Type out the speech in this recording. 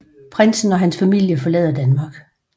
Prinsen og hans familie forlader Danmark